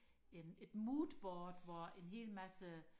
en et moodboard hvor en hel masse